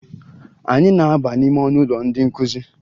Anyị na-aba n'ime ọnụụlọ ndị nkụzi